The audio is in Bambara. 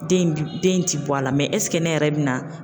Den den ti bɔ a la ɛseke ne yɛrɛ bɛ na